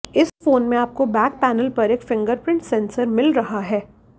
इस फोन में आपको बैक पैनल पर एक फिंगरप्रिंट सेंसर मिल रहा है